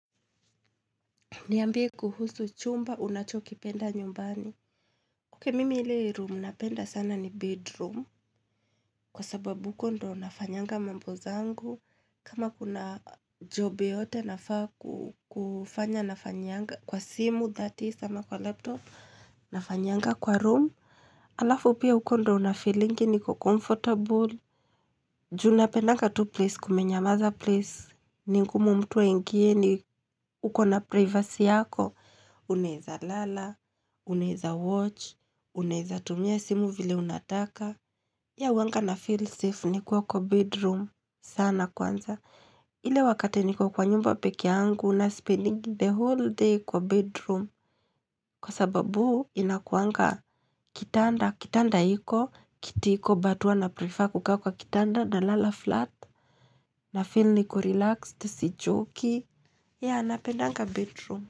Niambie kuhusu chumba, unachokipenda nyumbani. Oke, mimi ili room napenda sana ni bedroom. Kwa sababu uko ndo nafanyanga mambo zangu. Kama kuna job yote nafaa kufanya nafanyanga kwa simu thati sama kwa laptop. Nafanyanga kwa room. Alafu pia ukondo na feeling niko comfortable. Juna penaga tu place kumenyamaza place. Ningu mtuwa ingieni. Ukona privacy yako. Uneza lala. Unaiza watch, unaiza tumia simu vile unataka ya uanga na feel safe ni kuwa kwa bedroom sana kwanza ile wakate ni kuwa kwa nyumba pekiangu na spending the whole day kwa bedroom Kwa sababu inakuanga kitanda, kitanda hiko, kitiko batuwa na prefer kukaa kwa kitanda na lala flat na feel ni ku relaxed, si joki ya napendanga bedroom.